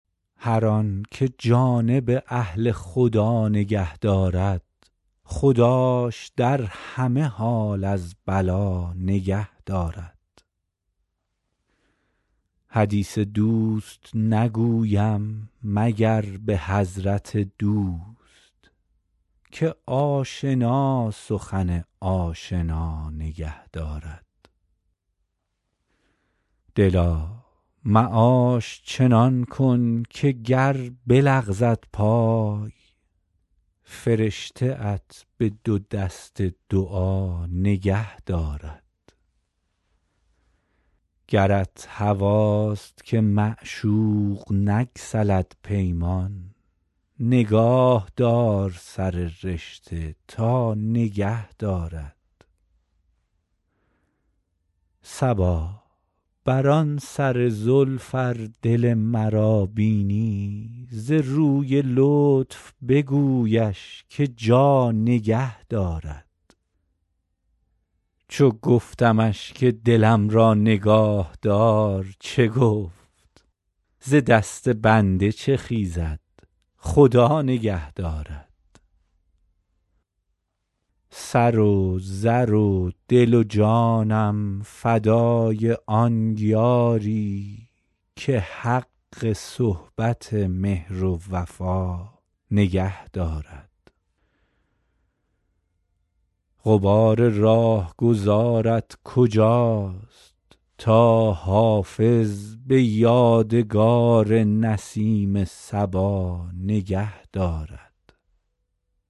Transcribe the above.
هر آن که جانب اهل خدا نگه دارد خداش در همه حال از بلا نگه دارد حدیث دوست نگویم مگر به حضرت دوست که آشنا سخن آشنا نگه دارد دلا معاش چنان کن که گر بلغزد پای فرشته ات به دو دست دعا نگه دارد گرت هواست که معشوق نگسلد پیمان نگاه دار سر رشته تا نگه دارد صبا بر آن سر زلف ار دل مرا بینی ز روی لطف بگویش که جا نگه دارد چو گفتمش که دلم را نگاه دار چه گفت ز دست بنده چه خیزد خدا نگه دارد سر و زر و دل و جانم فدای آن یاری که حق صحبت مهر و وفا نگه دارد غبار راهگذارت کجاست تا حافظ به یادگار نسیم صبا نگه دارد